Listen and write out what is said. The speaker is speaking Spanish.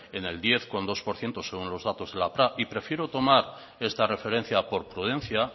en el diez coma dos por ciento según los datos de y prefiero tomar esta referencia por prudencia